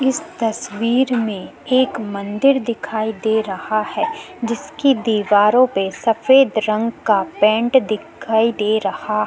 इस तस्वीर में एक मंदिर दिखाई दे रहा है जिसकी दीवारों पे सफ़ेद रंग का पेंट दिखाई दे रहा --